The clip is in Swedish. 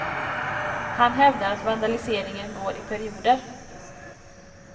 Han hävdar att vandaliseringen går i perioder.